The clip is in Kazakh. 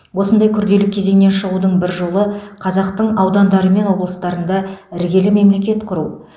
осындай күрделі кезеңнен шығудың бір жолы қазақтың аудандары мен облыстарында іргелі мемлекет құру